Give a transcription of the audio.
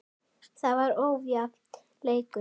Það var ójafn leikur.